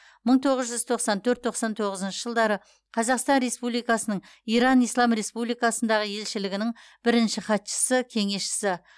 мың тоғыз жүз тоқсан төрт тоқсан тоғызыншы жылдары қазақстан республикасының иран ислам республикасындағы елшілігінің бірінші хатшысы кеңесшісі